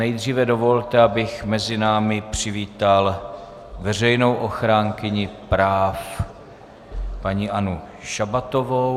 Nejdříve dovolte, abych mezi námi přivítal veřejnou ochránkyni práv paní Annu Šabatovou.